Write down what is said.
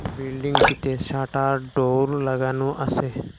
বিল্ডিংটিতে shutter door লাগানো আসে।